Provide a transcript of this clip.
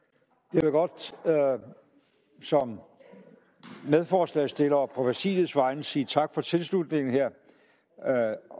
jeg vil godt som medforslagsstiller og på præsidiets vegne sige tak for tilslutningen her